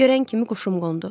Görən kimi quşum qondu.